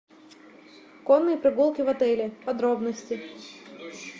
конные прогулки в отеле подробности